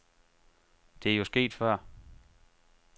Det er jo sket før.